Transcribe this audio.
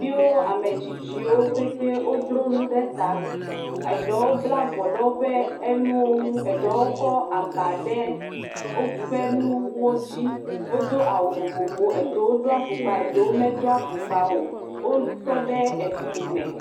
Ɖeviwo, ame tsitsiwo petɛ wodro nu ɖe ta. Eɖewo bla avɔ ɖe woƒe nuwo ŋu, ɖewo kɔ aba de woƒe nuwo dzi. Wodo awu vovovowo, ɖewo do afɔkpa, ɖewo medo afɔkpawo. Wotɔ ɖe fli me.